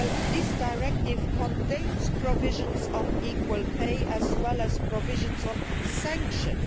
gap. This directive contains provisions on equal pay as well as provisions on sanctions.